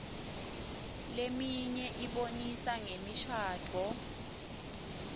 leminye ibonisa ngemishadvo